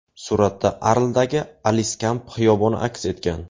Suratda Arldagi Aliskamp xiyoboni aks etgan.